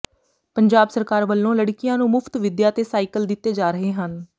ਪੰਜਾਬ ਸਰਕਾਰ ਵਲੋਂ ਲੜਕੀਆਂ ਨੂੰ ਮੁਫ਼ਤ ਵਿਦਿਆ ਤੇ ਸਾਈਕਲ ਦਿੱਤੇ ਜਾ ਰਹੇ ਹਨ